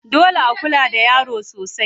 Dole a kula da yaro sosai.